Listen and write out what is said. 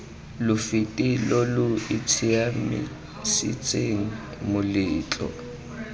lo fete lo itshiamisetseng moletlo